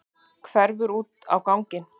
Hverfur út á ganginn.